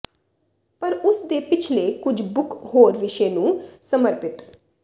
ਪਰ ਉਸ ਦੇ ਪਿਛਲੇ ਕੁਝ ਬੁੱਕ ਹੋਰ ਵਿਸ਼ੇ ਨੂੰ ਸਮਰਪਿਤ